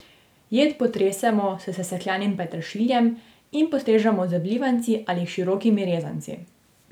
Jed potresemo s sesekljanim peteršiljem in postrežemo z vlivanci ali širokimi rezanci.